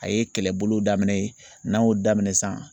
A ye kɛlɛbolo daminɛ ye n'an y'o daminɛ san